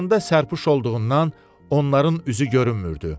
Başlarında sərpüş olduğundan onların üzü görünmürdü.